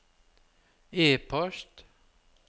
e-post